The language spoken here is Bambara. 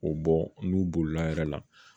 K'o bɔ n'u bolila a yɛrɛ la